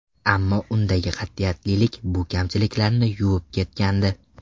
Ammo undagi qat’iyatlilik bu kamchiliklarni yuvib ketgandi.